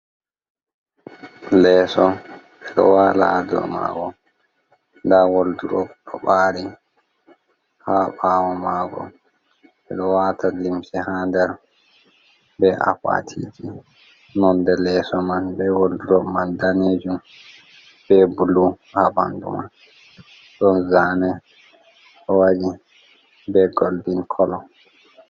Leso ɓeɗo wala ha dou mago nda woldurop ɗo bari ha ɓawo mago ɓeɗo wata limse ha nder be akwatiji nonde lesso man be woldudo man danejum be bulu ha ɓandu man ɗon zane ɗo waɗi be goldin kolo.